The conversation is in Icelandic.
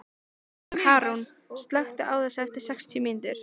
Karún, slökktu á þessu eftir sextíu mínútur.